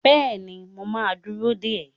Bẹ́ẹ̀ni, mo ma dúró dè ẹ́